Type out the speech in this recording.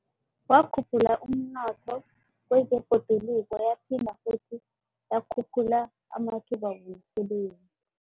Wakhuphula umnotho kwezebhoduluko, yaphinde godu yakhuphula amathuba womsebenzi.